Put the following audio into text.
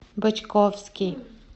бочковский